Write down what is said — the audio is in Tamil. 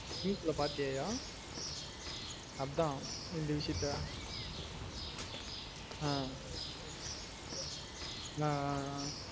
News ல பாத்திய யா அதான் இந்த விசியத்த ஆஹ் ஆஹ் ஆஹ்